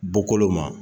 Bɔkolo ma